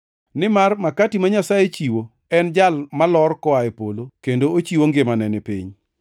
Nimar makati ma Nyasaye chiwo en Jal malor koa e polo kendo ochiwo ngimane ni piny.”